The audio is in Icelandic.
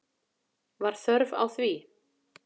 Var þörf á því?